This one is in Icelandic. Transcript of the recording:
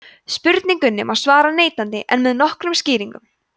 spurningunni má svara neitandi en með nokkrum skýringum